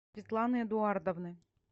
светланы эдуардовны